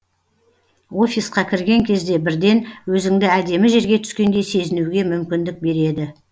офисқа кірген кезде бірден өзіңді әдемі жерге түскендей сезінуге мүмкіндік береді